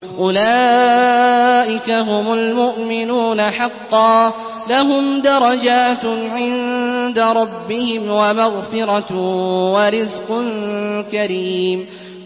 أُولَٰئِكَ هُمُ الْمُؤْمِنُونَ حَقًّا ۚ لَّهُمْ دَرَجَاتٌ عِندَ رَبِّهِمْ وَمَغْفِرَةٌ وَرِزْقٌ كَرِيمٌ